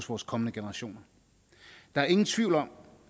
vores kommende generationer der er ingen tvivl om